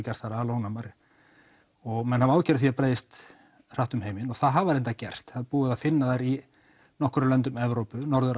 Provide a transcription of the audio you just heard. gert þær ónæmar og menn hafa áhyggjur af því að það breiðist hratt um heiminn og það hafa þær reyndar gert það er búið að finna þær í nokkrum löndum Evrópu norður